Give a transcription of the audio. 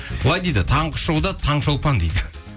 былай дейді таңғы шоуда таңшолпан дейді